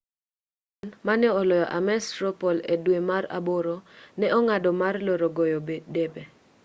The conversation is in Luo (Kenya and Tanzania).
bachmann mane oloyo ames straw poll e dwe mar aboro ne ong'ado mar loro goyo debe